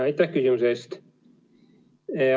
Aitäh küsimuse eest!